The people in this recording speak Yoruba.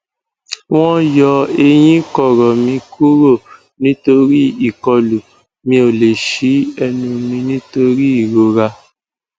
wọn yọ eyín kọrọ mi kúrò nítorí ìkọlù mi ò lè ṣí ẹnu mi nítorí ìrora